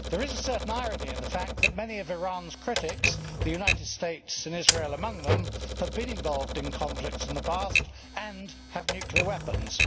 There is a certain irony in the fact that many of Iran's critics, the United States and Israel among them, have been involved in conflicts in the past and have nuclear weapons.